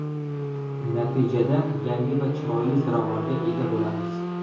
Natijada yangi va chiroyli ziravorga ega bo‘lamiz.